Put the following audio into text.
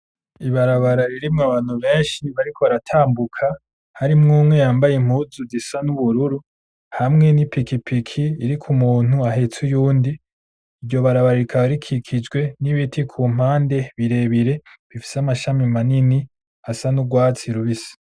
Ibarabara ririmwo abantu benshi bariko baratambuka harimwo umwe yambaye impuzu zisa n'ubururu hamwe n'ipikipiki iriko umuntu ahatse uwundi iryo barabara rikaba rikijijwe n'ibiti kumpande birebire bifise amashami maremare asa nurwatsi rubisi.